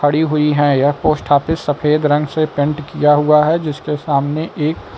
पड़ी हुई हैं यह पोस्ट ऑफिस सफेद रंग से पेंट किया हुआ है जिसके सामने एक--